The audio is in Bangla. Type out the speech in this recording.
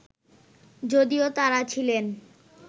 যদিও তাঁরা ছিলেন